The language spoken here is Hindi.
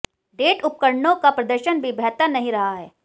डेट उपकरणों का प्रदर्शन भी बेहतर नहीं रहा है